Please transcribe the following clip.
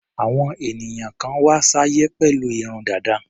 Àwọn ènìyàn kan wá sáyé pẹ̀lú irun dàda.